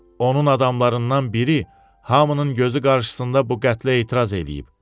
Onun adamlarından biri hamının gözü qarşısında bu qətlə etiraz eləyib.